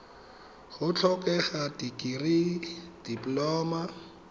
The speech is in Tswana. go tlhokega dikirii dipoloma